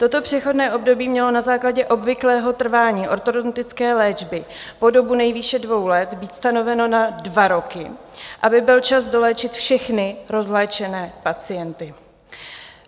Toto přechodné období mělo na základě obvyklého trvání ortodontické léčby po dobu nejvýše dvou let být stanoveno na dva roky, aby byl čas doléčit všechny rozléčené pacienty.